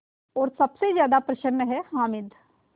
और सबसे ज़्यादा प्रसन्न है हामिद